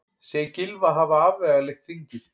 Segir Gylfa hafa afvegaleitt þingið